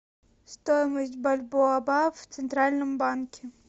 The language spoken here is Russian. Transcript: стоимость бальбоа в центральном банке